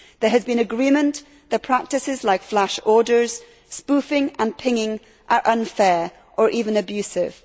There has been agreement that practices like flash orders, spoofing and pinging are unfair or even abusive.